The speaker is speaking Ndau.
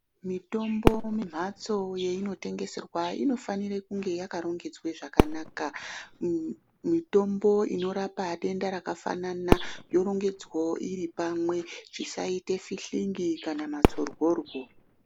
Mitombo mumphatso yeyinotengeserwa inofanira kunge yakarongedzwa zvakanaka. Mitombo inorapa denda rakafanana yorongedzwawo iri pamwe zvisaita fihlingi kana matsorworwo.